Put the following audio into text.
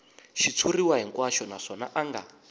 xitshuriwa hinkwaxo naswona a nga